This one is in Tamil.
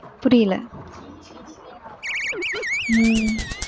புரியல? உம்